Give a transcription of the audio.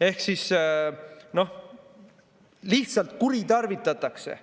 Ehk lihtsalt kuritarvitatakse